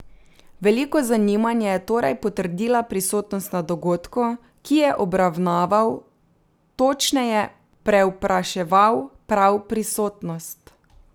Veliko zanimanje je torej potrdila prisotnost na dogodku, ki je obravnaval, točneje prevpraševal prav prisotnost.